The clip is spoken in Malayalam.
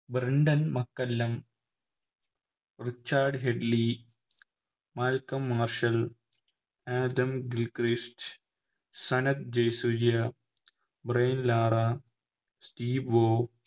Brendon McCullum Richard Hadlee Malcolm Marshall Adam Gilchrist Sanath Jayasuriya Brian Lara Steve വോ